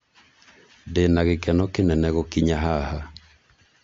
ndina gĩkeno kĩnene gũkinya haha